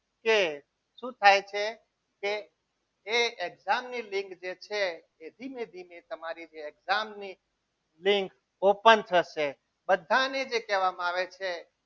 કે શું થાય છે કે એ exam ની લીંક જે છે એ ધીમે ધીમે તમારી જે exam ની લીંક open થશે બધાને જે કહેવામાં આવે છે.